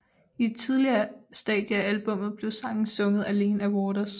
I et tidligere stadie af albummet blev sangen sunget alene af Waters